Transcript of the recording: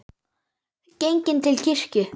Genginn til kirkju.